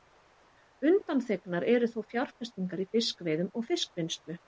Undanþegnar eru þó fjárfestingar í fiskveiðum og fiskvinnslu.